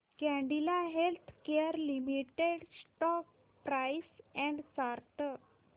Cadila healthcare limited stock price and chart